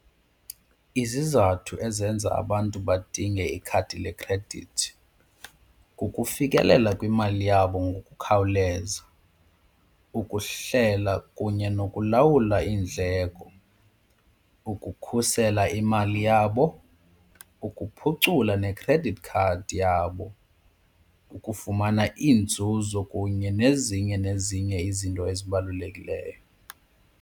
Izizathu ezenza abantu badinge ikhadi lekhredithi kukufikelela kwimali yabo ngokukhawuleza, ukuhlela kunye nokulawula iindleko, ukukhusela imali yabo, ukuphucula ne-credit card yabo, ukufumana inzuzo kunye nezinye nezinye izinto ezibalulekileyo.